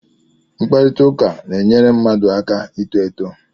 Mkparịta ụka na-enyere mmadụ aka ito eto